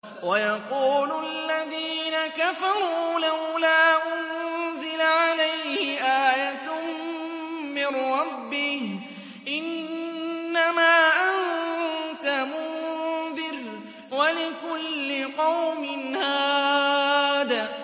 وَيَقُولُ الَّذِينَ كَفَرُوا لَوْلَا أُنزِلَ عَلَيْهِ آيَةٌ مِّن رَّبِّهِ ۗ إِنَّمَا أَنتَ مُنذِرٌ ۖ وَلِكُلِّ قَوْمٍ هَادٍ